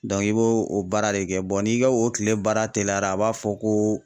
i b'o o baara de kɛ n'i ka o kile baara teliyara a b'a fɔ ko